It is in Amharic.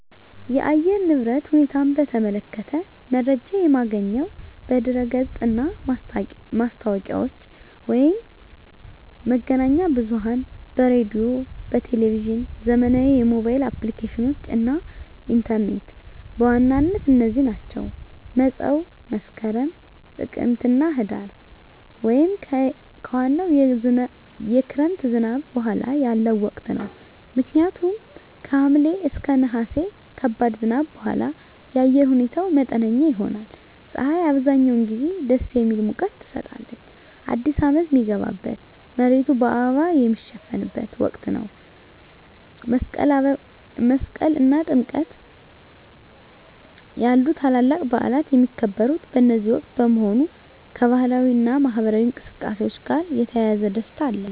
የአየር ንብረት ሁኔታን በተመለከተ መረጃ የማገኘው በድረ-ገጽ እና ማስታወቂያዎች፣ መገናኛ ብዙኃን በራዲዮ፣ በቴሊቭዥን፣ ዘመናዊ የሞባይል አፕሊኬሽኖች እና ኢንተርኔት በዋናነት እነዚህ ናቸው። መፀው መስከረም፣ ጥቅምትና ህዳር) ወይም ከዋናው የክረምት ዝናብ በኋላ ያለው ወቅት ነው። ምክንያቱም ከሐምሌ እና ነሐሴ ከባድ ዝናብ በኋላ የአየር ሁኔታው መጠነኛ ይሆናል። ፀሐይ አብዛኛውን ጊዜ ደስ የሚል ሙቀት ትሰጣለች። አዲስ አመት ሚገባበት፣ መሬቱ በአበባ ሚሸፈንበት ወቅት ነው። መስቀል እና ጥምቀት ያሉ ታላላቅ በዓላት የሚከበሩት በዚህ ወቅት በመሆኑ፣ ከባህላዊ እና ማኅበራዊ እንቅስቃሴዎች ጋር የተያያዘ ደስታ አለ።